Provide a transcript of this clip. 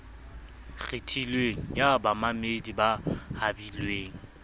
kgethilweng ya bamamedi ba habilweng